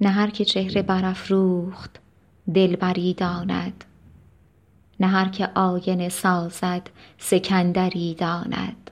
نه هر که چهره برافروخت دلبری داند نه هر که آینه سازد سکندری داند